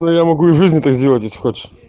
ну я могу и в жизни так сделать если хочешь